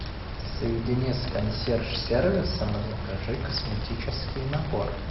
соедини с консьерж сервисом и закажи косметический набор